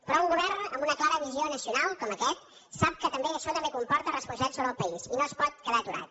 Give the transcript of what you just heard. però un govern amb una clara visió nacional com aquest sap que això també comporta responsabilitats sobre el país i no es pot quedar aturat